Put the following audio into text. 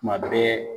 Tuma bɛɛ